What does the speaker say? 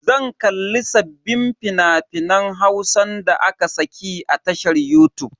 Zan kalli sabbin fina-finan Hausan da aka saki a tashar yutub.